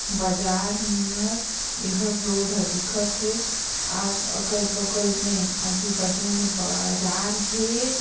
बाजार मियर एहर रोड हर दिखत हे आस अगल-बगल मे आजू-बाजू मे बाजार हे।